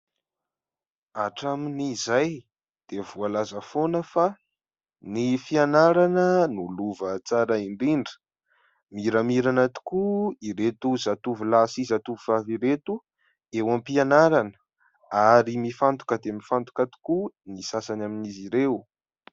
Hatramin' izay dia voalaza foana fa ny fianarana no lova tsara indrindra, miramirana tokoa ireto zatovo lahy sy zatovo vavy ireto eo am-pianarana ary mifantoka dia mifantoka tokoa ny sasany amin'izy ireo.